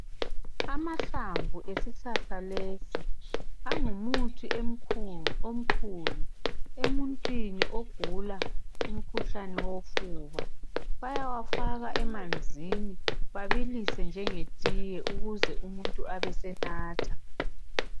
Amahlamvu esihlahla lesi angumuthi emkhulu omkhulu emuntwini ogula umkhuhlane wofuba bayawufaka emanzini babilise njenge tiye ukuze umuntu abesenatha .